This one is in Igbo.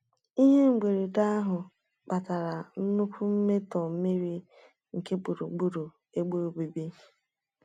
Ihe mberede ahụ kpatara nnukwu mmetọ mmiri nke gburugburu ebe obibi.